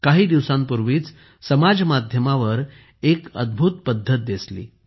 काही दिवसांपूर्वी समाज माध्यमांवर एक अद्भुत पद्धतदिसली